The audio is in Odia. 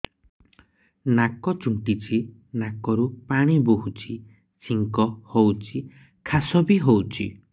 ନାକ ଚୁଣ୍ଟୁଚି ନାକରୁ ପାଣି ବହୁଛି ଛିଙ୍କ ହଉଚି ଖାସ ବି ହଉଚି